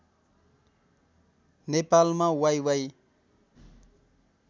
नेपालमा वाइवाइ